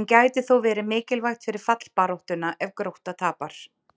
en gæti þó verið mikilvægt fyrir fallbaráttuna ef Grótta tapar!